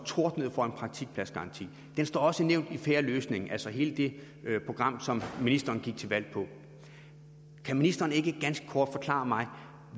tordnede for en praktikpladsgaranti den står også nævnt i fair løsning altså hele det program som ministeren gik til valg på kan ministeren ikke ganske kort forklare mig